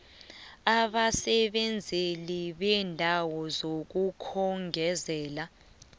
abasebenzeli beendawo zokukhongozela